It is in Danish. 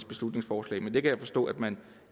beslutningsforslag men det kan jeg forstå at man